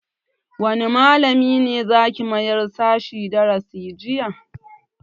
Wanne malamin za ki mayar sashen darasin jinya?